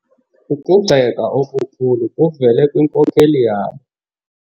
Ukugxeka okukhulu kuvele kwinkokeli yabo.